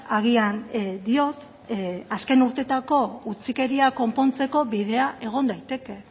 agian diot azken urteetako utzikeria konpontzeko bidea egon daiteke